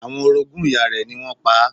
Àwọn orogún ìyá rẹ̀ ni wọ́n pa á.